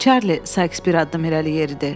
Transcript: Çarli, Sayks bir addım irəli yeridi.